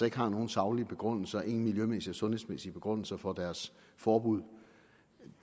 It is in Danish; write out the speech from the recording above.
ikke har nogen saglige begrundelser og ingen miljømæssige eller sundhedsmæssige begrundelser for deres forbud